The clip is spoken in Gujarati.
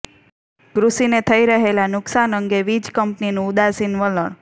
કૃષિને થઇ રહેલા નુકસાન અંગે વીજ કંપનીનું ઉદાસીન વલણ